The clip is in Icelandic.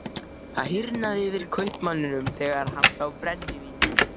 Það hýrnaði yfir kaupmanni þegar hann sá brennivínið.